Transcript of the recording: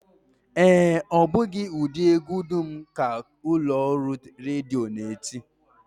Ee, ọ bụghị ụdị egwu dum ka ụlọọrụ redio na-eti